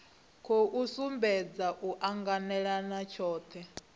khou sumbedza u anganelana tshohe